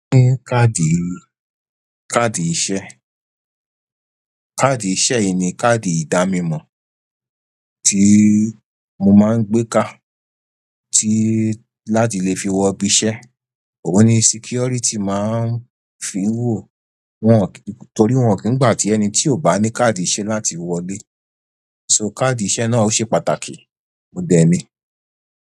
Ní káàdì, káàdì iṣẹ́. Káàdì iṣẹ́ yìí ni káàdì ìdámi mọ tí mo máa ń gbé kà tí láti lè fi wọ ibí iṣẹ́. Òun ni security máa ń fi wò, wọ́n torí wọ́n kìí gbà tí ẹni tí ò bá ní káàdì iṣẹ́ láti wọlé. So káàdì iṣẹ́ náà ó ṣe pàtàkì. Mo dẹ ni.